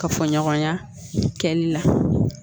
Ka fɔ ɲɔgɔnya kɛli la